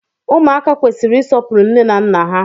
Ụmụaka kwesịrị isọpuru nne na nna ha